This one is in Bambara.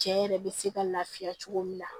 Cɛ yɛrɛ bɛ se ka lafiya cogo min na